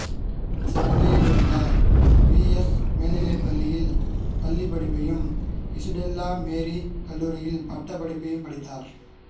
சென்னையில் உள்ள P S மேல்நிலைப் பள்ளியில் பள்ளிப்படிப்பையும் இசுடெல்லா மேரிக் கல்லூரியில் பட்டப்படிப்பையும் படித்தார்